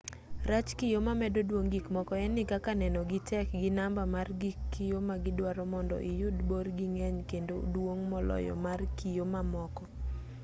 rach kiyo mamedo duong' gikmoko en ni kaka nenogi tek gi namba mar gig kiyo ma gidwaro mondo iyud borgi ng'eny kendo duong' moloyo mar kiyo mamoko